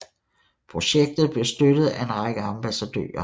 Projektet blev støttet af en række ambassadører